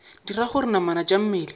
dira gore namana tša mmele